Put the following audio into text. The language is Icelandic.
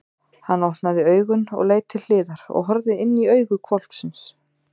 Hann opnaði augun og leit til hliðar og horfði inní augu hvolpsins!